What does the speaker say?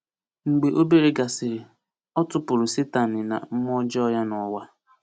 Mgbe obere gasịrị, o tupụrụ Satani na mmụọ ọjọọ ya n’ụwa.